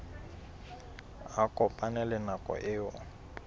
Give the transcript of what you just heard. a kopane le nako eo